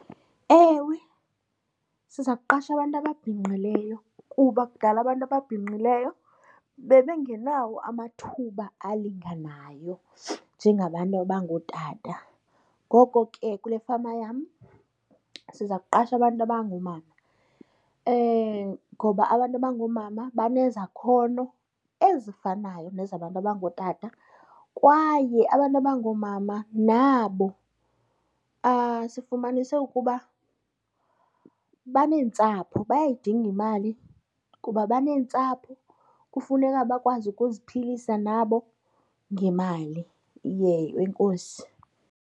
Ewe siza kuqasha abantu ababhinqileyo kuba kudala abantu ababhinqileyo bebengenawo amathuba alinganayo njengabantu abangootata. Ngoko ke kule fama yam siza kuqasha abantu abangoomama ngoba abantu abangoomama banezakhono ezifanayo nezabantu abangootata. Kwaye abantu abangoomama nabo sifumanise ukuba baneentsapho bayayidinga imali kuba baneentsapho, kufuneka bakwazi ukuziphilisa nabo ngemali . Enkosi.